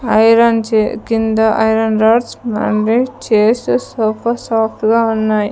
Iron చె కింద iron rods మళ్ళీ చైర్స్ సోఫా సాఫ్ట్ గా ఉన్నాయి.